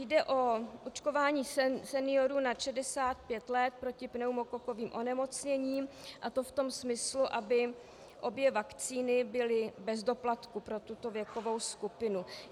Jde o očkování seniorů nad 65 let proti pneumokokovým onemocněním, a to v tom smyslu, aby obě vakcíny byly bez doplatku pro tuto věkovou skupinu.